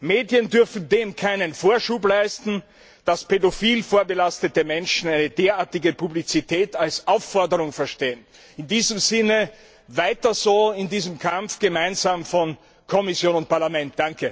Medien dürfen dem keinen Vorschub leisten, dass pädophil vorbelastete Menschen eine derartige Publizität als Aufforderung verstehen. In diesem Sinne Weiter so in diesem gemeinsamen Kampf von Kommission und Parlament!